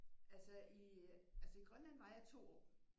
Altså i øh altså i Grønland var jeg i to år